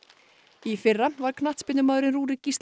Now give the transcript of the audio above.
í fyrra var knattspyrnumaðurinn Rúrik Gíslason